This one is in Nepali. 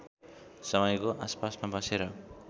समयको आसपासमा बसेर